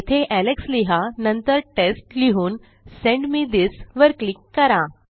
येथे एलेक्स लिहा नंतर टेस्ट लिहून सेंड मे थिस वर क्लिक करा